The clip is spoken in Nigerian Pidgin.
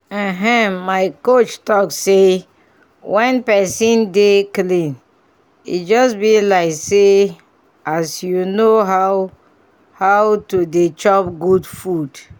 ehn my coach talk say when pesin dey dey clean e just bi like as you know how how to dey chop good food